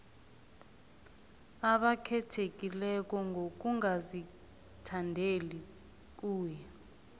abakhethekileko ngokungazithandeli kuye